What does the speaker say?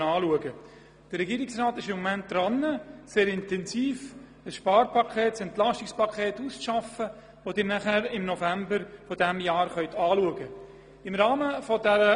Der Regierungsrat arbeitet im Moment sehr intensiv an einem Entlastungspaket, das Sie im November diskutieren können.